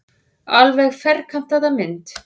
Alveg ferkantaða mynd.